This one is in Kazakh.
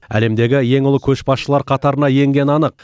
әлемдегі ең ұлы көшбасшылар қатарына енгені анық